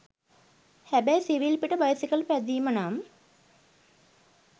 හැබැයි සිවිල් පිට බයිසිකල් පැදීම නම්